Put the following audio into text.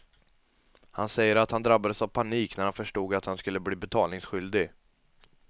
Han säger att han drabbades av panik när han förstod att han skulle bli betalningsskyldig.